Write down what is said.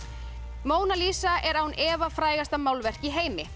Móna Lísa er án efa frægasta málverk í heimi